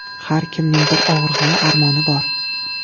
Har kimning bir og‘rig‘i, armoni bor.